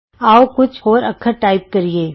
ਆਉ ਕੁਝ ਹੋਰ ਅੱਖਰ ਟਾਈਪ ਕਰੀਏ